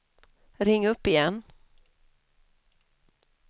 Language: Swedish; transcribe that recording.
ring upp igen